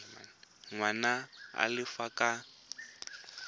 ngwana a le ka fa